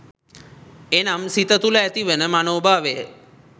එනම් සිත තුළ ඇතිවන මනෝ භාවය